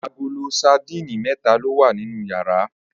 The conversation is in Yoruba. Agolo sadíìnì mé̩ta ló wà nínú yàrá